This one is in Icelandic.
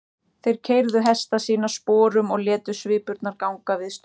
Þeir keyrðu hesta sína sporum og létu svipurnar ganga viðstöðulaust.